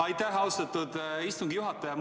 Aitäh, austatud istungi juhataja!